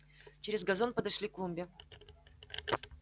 через газон подошли к клумбе